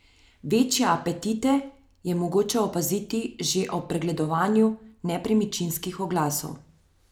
Večje apetite je mogoče opaziti že ob pregledovanju nepremičninskih oglasov.